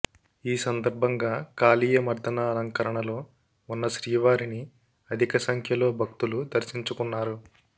ఈ సందర్భంగా కాళీయ మర్ధన అలంకరణలో ఉన్న శ్రీవారిని అధిక సంఖ్యలో భక్తులు దర్శించుకున్నారు